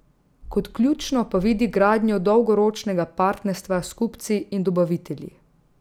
Kot ključno pa vidi gradnjo dolgoročnega partnerstva s kupci in dobavitelji.